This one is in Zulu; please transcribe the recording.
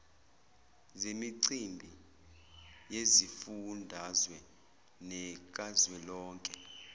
zemicimbi yezifundazwe nekazwelonke